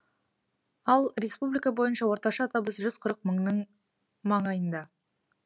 ал республика бойынша орташа табыс жүз қырық мыңның маңайында